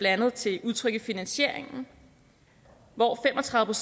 andet til udtryk i finansieringen hvor fem og tredive